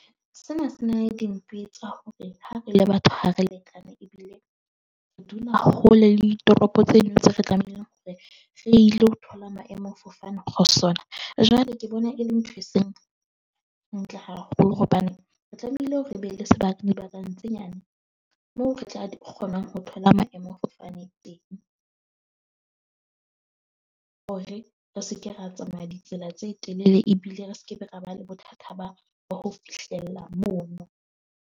Sena se na le tsa hore ha re le batho, ha re lekane, ebile re dula hole le ditoropo tseno tse re tlamehileng hore re ile ho thola maemo fofane ho sona. Jwale ke bona e le ntho e seng ntle haholo hobane re tlamehile hore re be le sebaka dibakeng tse nyane. Moo re tla kgonang ho thola maemo a fofane teng, hore re se ke ra tsamaya ditsela tse telele ebile re skebe ra ba le bothata ba ba ho fihlella mono.